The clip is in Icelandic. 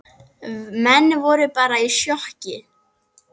Menn voru bara í sjokki.